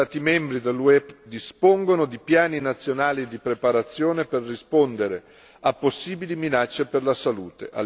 Gli Stati membri dell'UE dispongono di piani nazionali di preparazione per rispondere a possibili minacce per la salute.